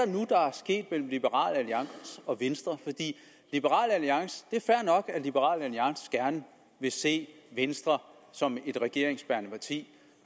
sket mellem liberal alliance og venstre det er fair nok at liberal alliance gerne vil se venstre som et regeringsbærende parti